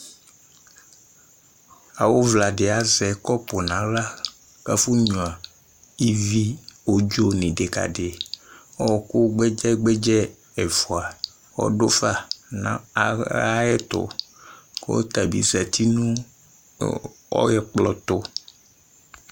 Awʋvla dɩ azɛ kɔpʋ nʋ aɣla kʋ afɔnyuǝ ivi odzo nʋ ɩdɩkadɩ Ɔɣɔkʋ gbɛdzɛ-gbɛdzɛ ɛfʋa ɔdʋ fa nʋ aɣla ayɛtʋ kʋ ɔta bɩ zati nʋ ɛkplɔ tʋ